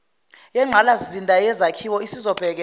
yengqalasizinda yezakhiwo isizobhekela